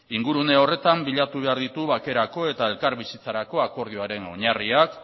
ingurune horretan bilatu behar ditugu bakerako eta elkarbizitzarako akordioaren oinarriak